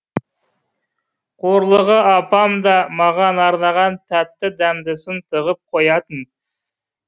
қорлығы апам да маған арнаған тәтті дәмдісін тығып коятын